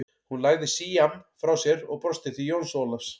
Hún lagði síamm frá sér og brosti til Jóns Ólafs.